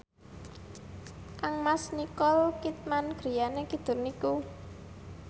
kangmas Nicole Kidman griyane kidul niku